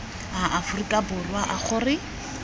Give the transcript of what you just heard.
a aforika borwa a gore